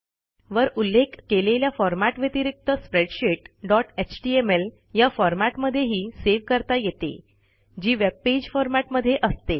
वर उल्लेख केलेल्या फॉरमॅट व्यतिरिक्त स्प्रेडशीट डॉट एचटीएमएल या फॉरमॅट मध्येही सेव्ह करता येते जी वेब पेज फॉरमॅट मध्ये असते